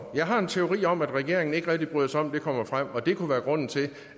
jeg har en teori om at regeringen ikke rigtig bryder sig om at det kommer frem og at det kunne være grunden til